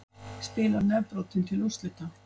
Spilar nefbrotinn til úrslita